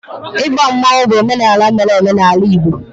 igba mmanwu bụ omenala mere eme n'ala Igbo